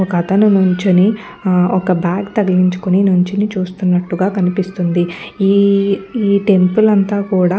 ఒకతను నించుని ఒక బాగ్ తగిలించుకుని నించుని చూస్తున్నట్టుగా కనిపిస్తుంది ఈ టెంపుల్ అంతా కూడా --